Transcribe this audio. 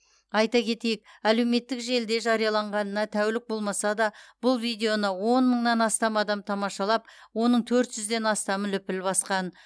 айта кетейік әлеуметтік желіде жарияланғанына тәулік болмаса да бұл видеоны он мыңнан астам адам тамашалап оның төт жүзден астамы лүпіл басқан